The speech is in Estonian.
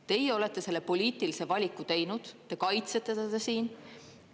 Teie olete selle poliitilise valiku teinud, te kaitsete seda siin.